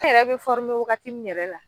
Ne yɛrɛ bɛ waagati min yɛrɛ la.